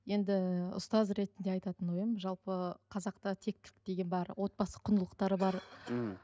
енді ұстаз ретінде айтатын ойым жалпы қазақта тектілік деген бар отбасы құндылықтары бар ммм